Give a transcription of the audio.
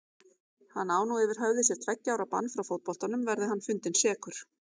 Hann á nú yfir höfði sér tveggja ára bann frá fótboltanum verði hann fundinn sekur.